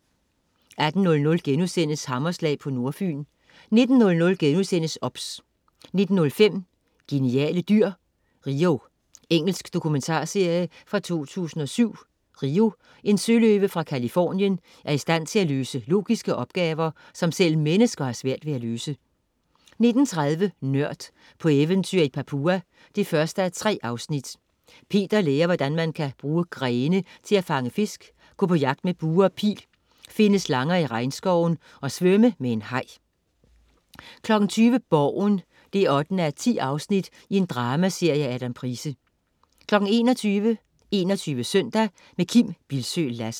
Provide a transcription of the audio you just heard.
18.00 Hammerslag på Nordfyn* 19.00 OBS* 19.05 Geniale dyr. Rio. Engelsk dokumentarserie fra 2007. Rio, en søløve fra Californien, er i stand til at løse logiske opgaver, som selv mennesker har svært ved at løse 19.30 Nørd: På eventyr i Papua 1:3. Peter lærer hvordan man kan bruge grene til at fange fisk, gå på jagt med bue og pil, finde slanger i regnskoven og svømme med en haj 20.00 Borgen 8:10. Dramaserie af Adam Price 21.00 21 Søndag. Kim Bildsøe Lassen